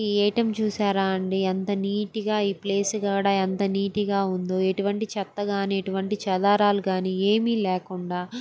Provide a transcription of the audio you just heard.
ఈ ఏ_టీ_ఎం చూసారా అండి. ఎంత నీట్ గా ఈ ప్లేస్ కూడా ఎంత నీట్ గా ఉందో ఇటువంటి చెత్తగానే ఎటువంటి దారాలు గాని ఏమి లేకుండా --